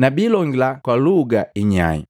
na biilongila kwa luga inyai.